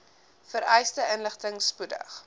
vereiste inligting spoedig